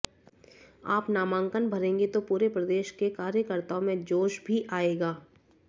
आप नामांकन भरेंगे तो पूरे प्रदेश के कार्यकर्ताओं में जोश भी आएगा